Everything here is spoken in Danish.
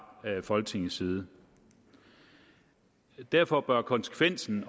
folketingets side derfor bør konsekvensen